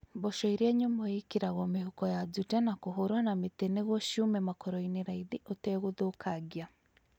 Mboco iria nyũmũ ikĩragwo mĩhuko ya jute na kũhũrwo na mĩtĩ nĩgwo ciume makoroinĩ raithi ũtegũthũkangia